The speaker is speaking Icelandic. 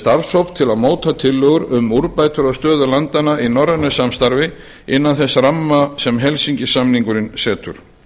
starfshóp til að móta tillögur um úrbætur á stöðu landanna í norrænu samstarfi innan þess ramma sem helsinki samningurinn setur